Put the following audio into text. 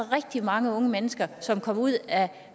rigtig mange unge mennesker som kom ud af